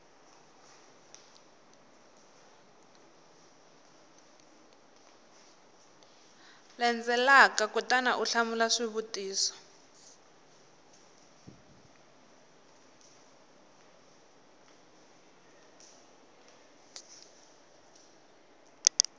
landzelaka kutani u hlamula xivutiso